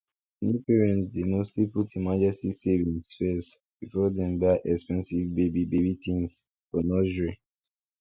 new parents dey mostly put emergency savings first before dem buy expensive baby baby things for nursery